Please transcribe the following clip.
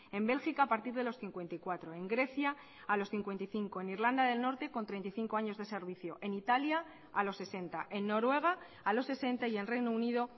en bélgica a partir de los cincuenta y cuatro en grecia a los cincuenta y cinco en irlanda del norte con treinta y cinco años de servicio en italia a los sesenta en noruega a los sesenta y en reino unido